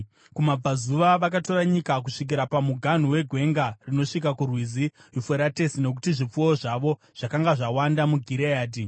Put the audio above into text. Kumabvazuva vakatora nyika kusvikira pamuganhu wegwenga rinosvika kuRwizi Yufuratesi nokuti zvipfuwo zvavo zvakanga zvawanda muGireadhi.